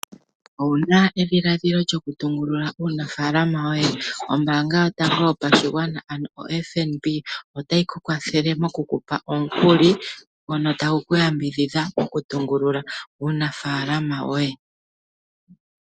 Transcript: Ou na edhiladhilo lyokutungulula uunafalama woye ? Ombaanga yotango yopashigwana ano oFNB otayi ku kwathele moku ku pa omukuli ngono tagu ku yambidhidha okutungulula uunafalama woye.